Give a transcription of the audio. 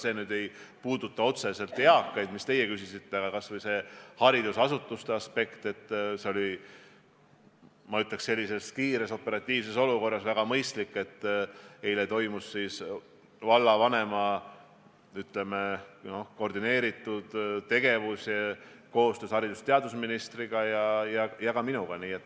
See küll ei puuduta otseselt eakaid, mille kohta teie küsisite, aga ma ütleks, et sellises ootamatus olukorras oli väga mõistlik, et eile toimus vallavanema koordineeritud koostöö haridus- ja teadusministriga ja ka minuga.